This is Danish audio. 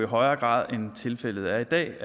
højere grad end tilfældet er i dag